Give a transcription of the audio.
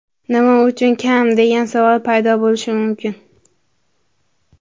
Nima uchun kam, degan savol paydo bo‘lishi mumkin.